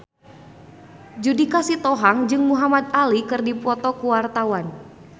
Judika Sitohang jeung Muhamad Ali keur dipoto ku wartawan